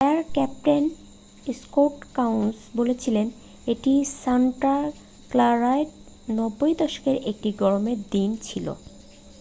"""Fire captain Scott Kouns বলেছিলেন """এটি Santa ক্লারার 90 দশকের একটি গরমের দিন ছিল """।""